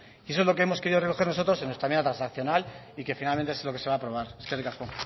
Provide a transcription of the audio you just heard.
y eso es lo que hemos querido reconocer nosotros en nuestra enmienda transaccional y que finalmente es lo que se va a aprobar eskerrik asko